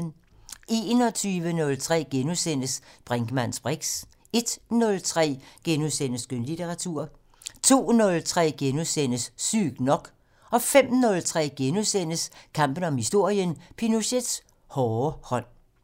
21:03: Brinkmanns briks * 01:03: Skønlitteratur * 02:03: Sygt nok * 05:03: Kampen om historien: Pinochets hårde hånd *